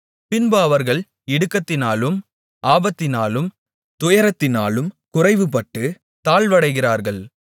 பின்பு அவர்கள் இடுக்கத்தினாலும் ஆபத்தினாலும் துயரத்தினாலும் குறைவுபட்டுத் தாழ்வடைகிறார்கள்